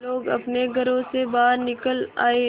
लोग अपने घरों से बाहर निकल आए